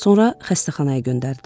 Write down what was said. Sonra xəstəxanaya göndərdilər.